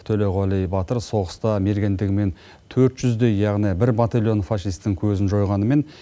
төлеуғали батыр соғыста мергендігімен төрт жүздей яғни бір батальон фашистің көзін жойғанымен